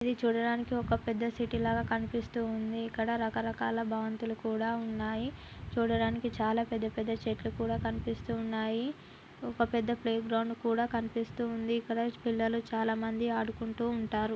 ఇది చూడటానికి ఒక పెద్ద సిటీ లాగా కనిపిస్తుంది ఇక్కడ రకరకాల భవంతులు కూడా ఉన్నాయి చూడటానికి చాలా పెద్ద పెద్ద చెట్లు కూడా కనిపిస్తున్నాయి ఒక పెద్ద ప్లే గ్రౌండ్ కూడా కానిపిస్తూ ఉంది ఇక్కడ పిల్లలు చాలా మంది ఆడుకుంటూ ఉంటారు